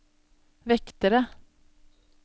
vektere